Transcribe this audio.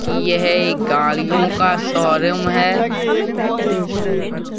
कि यह एक गाड़ियों का शोरूम है।